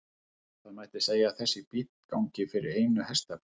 Það mætti segja að þessi bíll gangi fyrir einu hestafli.